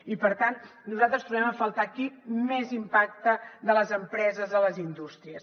i per tant nosaltres trobem a faltar aquí més impacte de les empreses a les indústries